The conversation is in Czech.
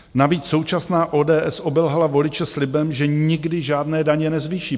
Navíc současná ODS obelhala voliče slibem, že nikdy žádné daně nezvýší.